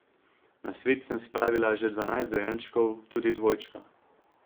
Na svet sem spravila že dvanajst dojenčkov, tudi dvojčka.